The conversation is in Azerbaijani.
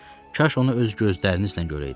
Kaş onu öz gözlərinizlə görəydiniz.